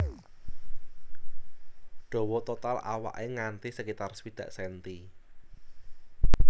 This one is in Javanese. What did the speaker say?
Dawa total awaké nganti sekitar swidak senti